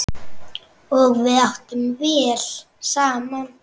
Og við áttum vel saman.